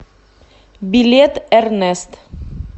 билет эрнест